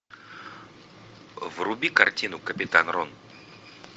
вруби картину капитан рон